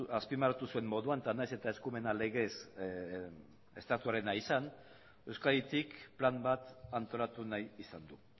azpimarratu zuen moduan eta nahiz eta eskumena legez estatuarena izan